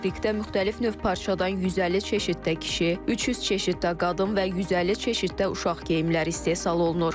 Fabrikdə müxtəlif növ parçadan 150 çeşiddə kişi, 300 çeşiddə qadın və 150 çeşiddə uşaq geyimləri istehsal olunur.